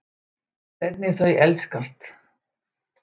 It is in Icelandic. Hvernig þau elskast.